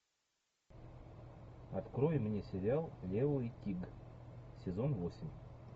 открой мне сериал лео и тиг сезон восемь